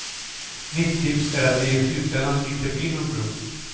Mitt tips är att det i slutändan inte blir någon bro.